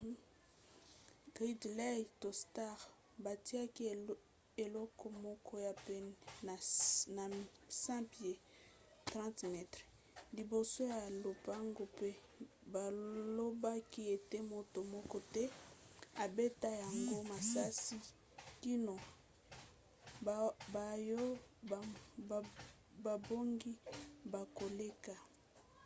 gridley to stark batiaki eloko moko ya pene na 100 pieds 30 m liboso ya lopango pe balobaki ete moto moko te abeta yango masasi kino baoyo babongi bakoleka